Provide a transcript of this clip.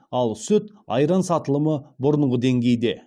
ал сүт айран сатылымы бұрынғы денгейде